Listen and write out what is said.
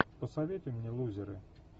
посоветуй мне лузеры